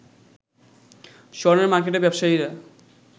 স্বর্ণের মার্কেটে ব্যবসায়ীরা